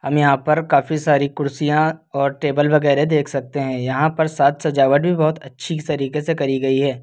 यहां पर काफी सारी कुर्सियां और टेबल वगेरा देख सकते हैं यहां पर साज सजावट भी बहुत अच्छी तरीके से करी गई है।